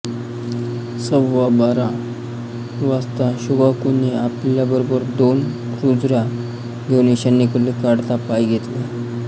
सव्वाबारा वाजता शोकाकुने आपल्याबरोबर दोन क्रुझरा घेउन ईशान्येकडे काढता पाय घेतला